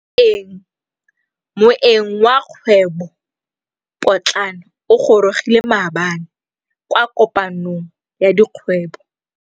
Moêng wa dikgwêbô pôtlana o gorogile maabane kwa kopanong ya dikgwêbô.